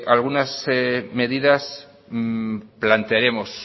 algunas medidas